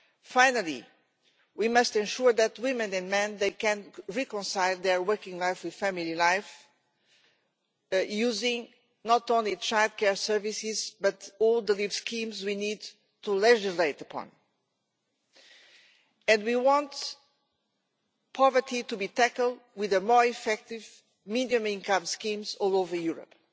Finally, we must ensure that women and men can reconcile their working life with family life, using not only childcare services but all the leave schemes we need to legislate the plan. We want poverty to be tackled with more effective minimum-income schemes all over Europe.